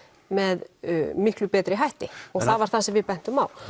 með miklu betri hætti og það var það sem við bentum á